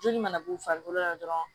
Joli mana b'u farikolo la dɔrɔn